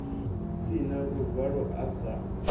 si na luvalo a sa